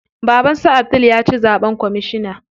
Baban su Abdul ya ci zaɓen kwamishina.